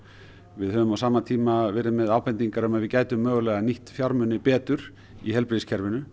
við höfum á sama tíma verið með ábendingar um að við gætum mögulega nýtt fjármuni betur í heilbrigðiskerfinu